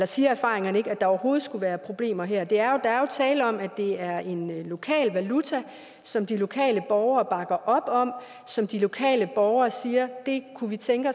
siger erfaringerne ikke at der overhovedet skulle være problemer her der er jo tale om at det er en lokal valuta som de lokale borgere bakker op om og som de lokale borgere siger de kunne tænke